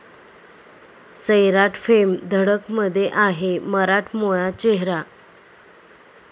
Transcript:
सैराट'फेम 'धडक'मध्ये आहे मराठमोळा चेहरा!